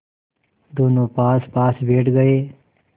दोेनों पासपास बैठ गए